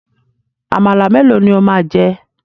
Àmàlà melo ni ó máa jẹ?